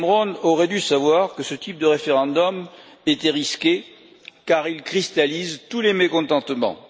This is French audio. Cameron aurait dû savoir que ce type de référendum était risqué, car il cristallise tous les mécontentements.